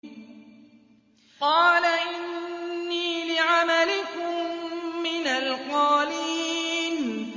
قَالَ إِنِّي لِعَمَلِكُم مِّنَ الْقَالِينَ